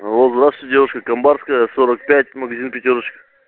алло здравствуйте девушка камбарская сорок пять магазин пятёрочка